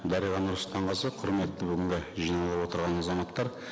дариға нұрсұлтанқызы құрметті бүгінгі жиналып отырған азаматтар